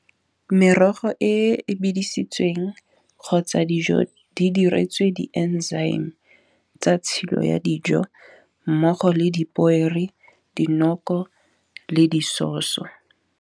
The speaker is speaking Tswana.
Merogo e bedisitsweng kgotsa dijo di diretswe di-enzyme. Tsa tshilo ya dijo mmogo le dipoere, dinoko le di sauce-o.